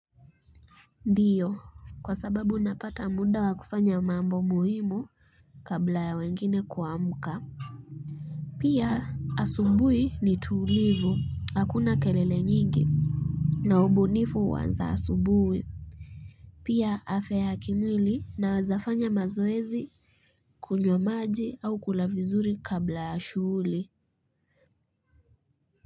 Ndiyo, kwa sababu ninapata muda wa kufanya mambo muhimu kabla ya wengine kuamka Pia asubuhi ni tulivu, hakuna kelele nyingi na ubunifu huanza asubuhi pia afya ya kimwili, nawezafanya mazoezi kunywa maji au kula vizuri kabla ya shughuli.